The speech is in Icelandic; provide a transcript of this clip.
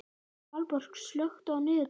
Valborg, slökktu á niðurteljaranum.